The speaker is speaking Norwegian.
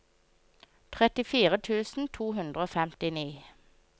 trettifire tusen to hundre og femtini